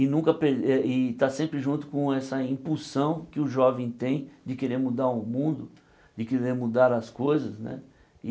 E nunca per eh e estar sempre junto com essa impulsão que o jovem tem de querer mudar o mundo, de querer mudar as coisas, né?